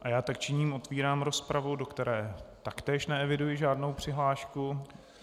A já tak činím, otevírám rozpravu, do které taktéž neeviduji žádnou přihlášku.